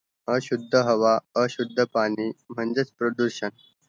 अशुद्ध हवा अशुद्ध पाणी म्हणजेच प्रदूषण